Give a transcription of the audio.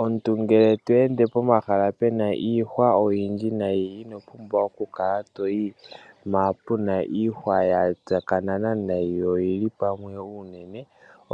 Omuntu ngele to ende pomahala pena iihwa oyindji nayi ino pumbwa okukala toyi mpa puna iihwa ya tsakanena nayi yo oyili pamwe unene.